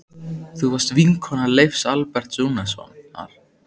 Þú varst vinkona Leifs Alberts Rúnarssonar.